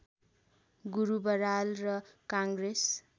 गुरु बराल र काङ्ग्रेस